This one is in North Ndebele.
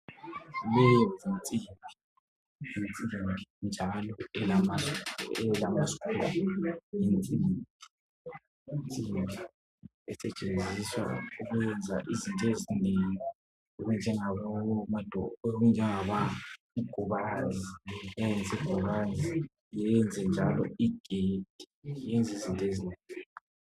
leyi yinsimbi yinsimbi njalo elama sikhuluzi esetshenziswa ukuyenza izinto ezinengi okunje ngokuyenza ingubani lokuyenza igedi iyenza izinto ezinengi.